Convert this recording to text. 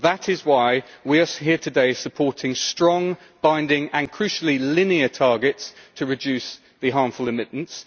That is why we are here today, supporting strong, binding and crucially linear targets to reduce the harmful emittents